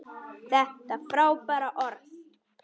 Þetta er frábært orð.